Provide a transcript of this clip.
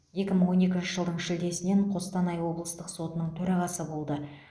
екі мың он екінші жылдың шілдесінен қостанай облыстық сотының төрағасы болды